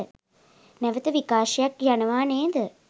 නැවත විකාශයක් යනව නේද?